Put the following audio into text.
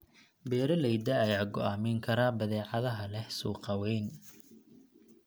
Beeralayda ayaa go'aamin kara badeecadaha leh suuq weyn.